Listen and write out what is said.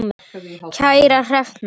Kæra Hrefna,